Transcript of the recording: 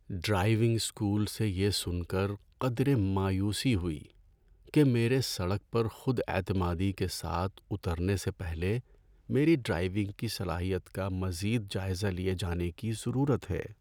Driving school سے یہ سن کر قدرے مایوسی ہوئی کہ میرے سڑک پر خود اعتمادی کے ساتھ اترنے سے پہلے میری ڈرائیونگ کی صلاحیت کا مزید جائزہ لیے جانے کی ضرورت ہے۔